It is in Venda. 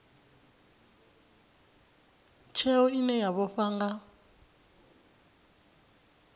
tsheo ine ya vhofha nga